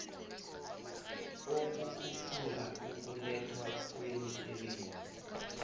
ukukhuphula ukulethwa kwemisebenzi